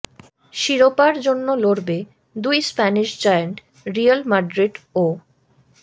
শিরোপার জন্য লড়বে দুই স্প্যানিশ জায়ান্ট রিয়াল মাদ্রিদ ও